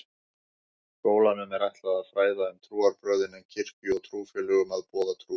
Skólanum er ætlað að fræða um trúarbrögðin en kirkju og trúfélögum að boða trú.